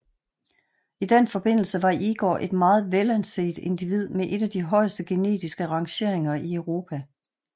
I den forbindelse var Igor et meget velanset individ med en af de højeste genetiske rangeringer i Europa